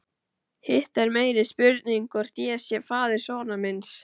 Hitt er meiri spurning hvort ég sé faðir sonar míns.